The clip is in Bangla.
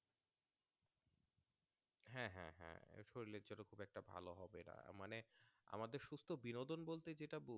আমাদের সুস্থ বিনোদন বলতে যেটা বো